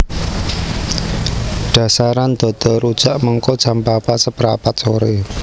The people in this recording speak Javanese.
Dasaran dodol rujak mengko jam papat seprapat sore